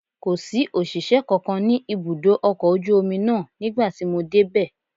Kò sí òṣìṣẹ́ kankan ní ibùdó ọkọ̀ ojú omi náà nígbà tí mo dé bẹ